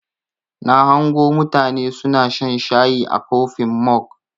Na hango mutane suna shan shayi a kofin mog.